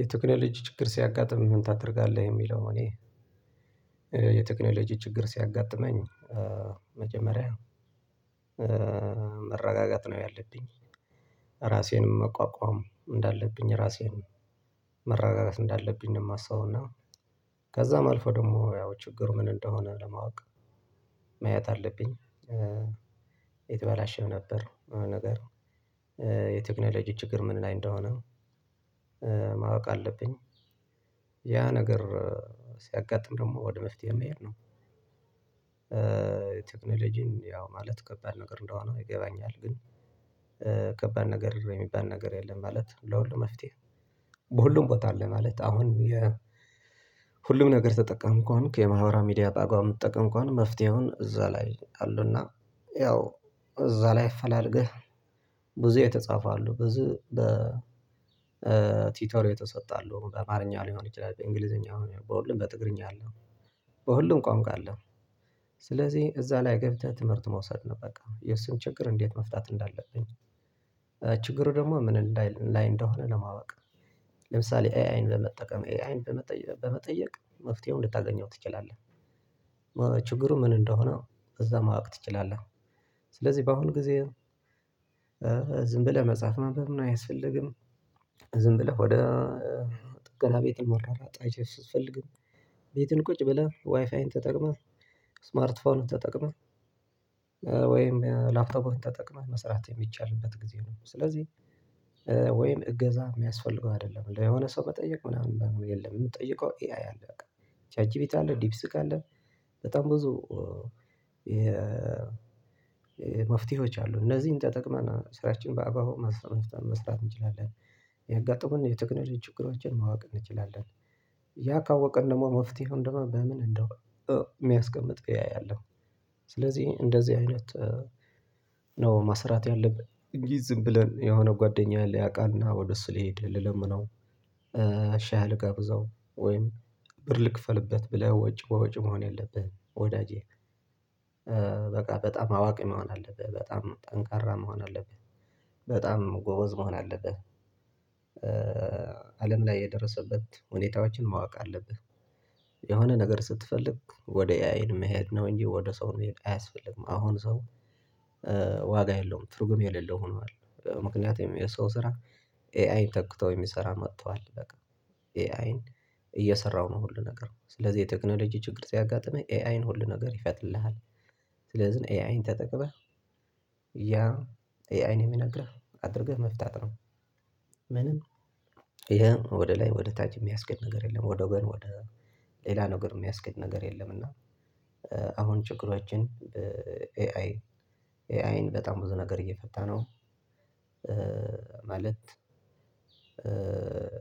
የቴክኖሎጂ ችግር ሲያጋጥም ምን ታደርጋለህ? የሚለው እኔ የቴክኖሎጂ ችግር ሲያጋጥመኝ መጀመሪያ መረጋጋት ነው ያለብኝ ራሴንም መቋቋም እንዳለብኝ ራሴንም መረጋጋት እንዳለብኝ ነው የማስበው እና ከዛም አልፎ ደግሞ ያው ችግሩ ምን እንደሆነ ለማወቅ ማየት አለብኝ። የተበላሸም ነበር ነገር የቴክኖሎጂ ችግር ምን ላይ እንደሆነ ማወቅ አለብኝ ያ ነገር ሲያጋጥም ደግሞ ወደ መፍትሄ መሄድ ነው። ቴክኖሎጂን ያው ማለት ከባድ ነገር እንደሆነ ይገባኛል። ግን ከባድ ነገር የሚባል ነገር የለም። ማለት ለሁሉም መፍትሄ በሁሉም ቦታ አለ። ማለት አሁን የ ሁሉም ነገር ተጠቃሚ ከሆንክ የማህበራዊ ሚዲያ ባግባቡ ምትጠቀም ከሆነ መፍትሄውን እዛ ላይ አለ። እና ያው እዛ ላይ እፈላልገህ። ብዙ የተጻፈ አሉ ብዙ በቲቶሪ የተሰጡ አሉ በአማርኛ ሊሆን ይችላል በእንግሊዘኛ በሁሉም በትግርኛ አለ በሁሉም ቋንቋ አለ። ስለዚህ እዛ ላይ ገብተህ ትምህርት መውሰድ ነው በቃ የሱን ችግር እንዴት መፍታት እንዳለብኝ። ችግሩ ደግሞ ምን እንዳይ ላይ እንደሆነ ለማወቅ ለምሳሌ ኤ አይን በመጠቀም ኤ አይን በመጠየቅ መፍትሄው ልታገኘው ትችላለህ። ችግሩ ምን እንደሆነ እዛ ማወቅ ትችላለህ። ስለዚህ በአሁን ጊዜ ዝም ብለህ መጽሐፍ ማንበብ ምናምን አያስፈልግም። ዝም ብለህ ወደ ጥገና ቤትም መሯሯጥ አያስፈልግም። ቤትን ቁጭ ብለህ ዋይፋይን ተጠቅመህ ስማርትፎንህን ተጠቅመህ ወይም ላፕቶፕችን ተጠቅመህ መስራት የሚቻልበት ጊዜ ነው። ስለዚህ ወይም እገዛ የሚያስፈልገው አይደለም ለየሆነ ሰው መጠየቅ ምናምን በምን የለም የምጠይቀው ኤአይ አለ በቃ። ቻት ጂቢቲ አለ ዲፕሲክ አለ። በጣም ብዙ መፍትሄዎች አሉ እነዚህን ተጠቅመን ስራችን በአግባቡ መፍታት መስራት እንችላለን። ያጋጠሙንን የቴክኖሎጂ ችግሮችን ማወቅ እንችላለን። ያ ካወቅን ደግሞ መፍትሄውን ደግሞ በምን እንደው የሚያስቀምጥ ኤ አይ አለ። ስለዚህ እንደዚህ አይነት ነው መስራት ያለብን እንጂ ዝም ብለን የሆነ ጓደኛ ሊያቃል እና ወደ እሱ ልሂድ ልለምነው። ሻይ ልጋብዘው ወይም ብር ልክፈልበት ብለህ ወጪ በወጪ መሆን የለብህም። ወዳጄ በቃ በጣም አዋቂ መሆን አለብህ በጣም ጠንካራ መሆን አለብህ። በጣም ጎበዝ መሆን አለብህ። አለም ላይ የደረሰበት ሁኔታዎችን ማወቅ አለብህ። የሆነ ነገር ስትፈልግ ወደ ኤአይን መሄድ ነው እንጂ ወደ ሰው መሄድ አያስፈልግም። አሁን ሰው ዋጋ የለውም ትርጉም የሌለው ሆኗል። ምክንያቱም የሰው ስራ ኤአይ ተክተው የሚሰራ መጥቷል። በቃ ኤአይን እየሰራሁ ነው ሁሉ ነገር ስለዚህ የቴክኖሎጂ ችግር ሲያጋጥመኝ ኤአይን ሁሉ ነገር ይፈትልሃል። ስለዚህ ኤአይን ተጠቅመህ ያ ኤአይን የሚነግርህ አድርገህ መፍታት ነው። ምንም ይሄም ወደ ላይ ወደ ታች የሚያስኬድ ነገር የለም። ወደ ጎን ወደ ሌላ ነገር የሚያስኬድ ነገር የለም። እና አሁን ችግሮችን ኤአይ ኤአይን በጣም ብዙ ነገር እየፈታ ነው። ማለት